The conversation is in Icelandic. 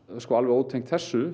alveg ótengt þessu